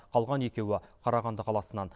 қалған екеуі қарағанды қаласынан